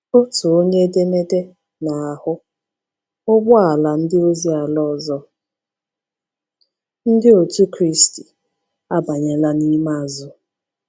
Otu onye edemede na-ahụ: “ụgbọala ndị ozi ala ọzọ Ndị Otù Kristi abanyela n’ime azụ.